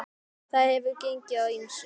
Þar hefur gengið á ýmsu.